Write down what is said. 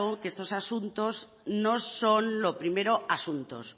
que estos asuntos no son lo primero asuntos